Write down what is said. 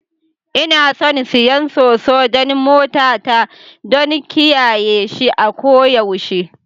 Ina son siyan Soso don motata. don kiyaye shi a koyaushe